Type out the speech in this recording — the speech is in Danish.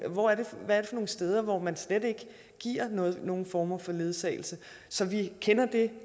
steder man slet ikke giver nogen former for ledsagelse så vi kender